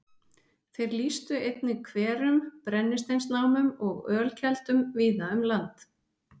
Þeir lýstu einnig hverum, brennisteinsnámum og ölkeldum víða um land.